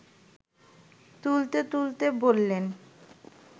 তুলতে তুলতে বললেন